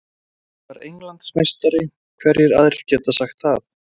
Ég var Englandsmeistari, hverjir aðrir geta sagt það?